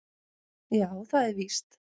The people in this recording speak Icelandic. Já, það er víst